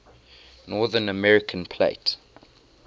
north american plate